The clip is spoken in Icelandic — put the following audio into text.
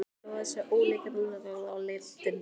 Hann hló að þessum ólíkindalátum og leit undan.